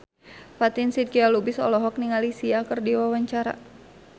Fatin Shidqia Lubis olohok ningali Sia keur diwawancara